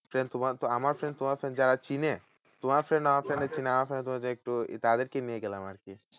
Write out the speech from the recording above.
Friend তোমার তো যারা চিনে তোমার friend আমার friend রে চিনে আমার সঙ্গে যদি একটু তাদেরকে নিয়ে গেলাম আরকি?